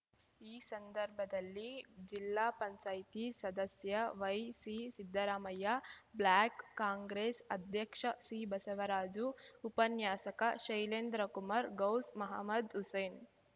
ಈ ಸಂದರ್ಭದಲ್ಲಿ ಜಿಲ್ಲಾಪಂಚಾಯ್ತಿ ಸದಸ್ಯ ವೈಸಿಸಿದ್ದರಾಮಯ್ಯ ಬ್ಲಾಕ್ ಕಾಂಗ್ರೆಸ್ ಅಧ್ಯಕ್ಷ ಸಿ ಬಸವರಾಜು ಉಪನ್ಯಾಸಕ ಶೈಲೇಂದ್ರಕುಮಾರ್ ಗೌಸ್ ಮಹಮದ್‍ಹುಸೇನ್